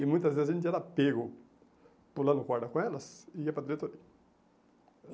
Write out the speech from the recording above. E muitas vezes a gente era pego, pulando corda com elas e ia para a diretoria.